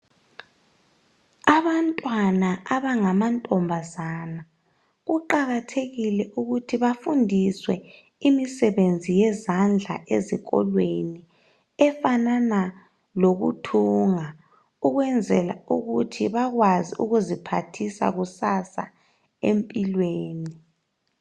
Abantwana abangama ntombazana kuqakathekile ukuthi bafundiswe imisebenzi yezandla ezikolweni efanana lokuthunga ukwenzela ukuthi bakwazi ukuziphathisa kusasa empilweni.